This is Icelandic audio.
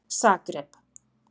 Zagreb